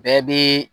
Bɛɛ bɛ